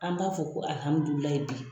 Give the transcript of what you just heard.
An b'a fɔ ko bi.